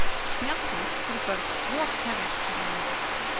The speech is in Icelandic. Snjallúr fyrir börn rokseljast hér á landi.